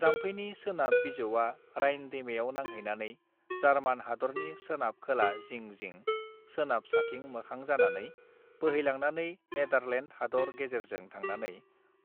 जामफैनि सोनाब बिजौवा राइन दैमायाव नांहैनानै जार्मान हादरनि सोनाब खोला जिं जिं सोनाब साथिं मोखां जानानै बोहैलांनानै नेदारलेन्द हादर गेजेरजों थांनानै